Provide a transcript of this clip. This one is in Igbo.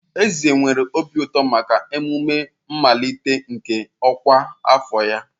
Eze nwere obi ụtọ maka emume mmalite nke ọkwa afọ ya.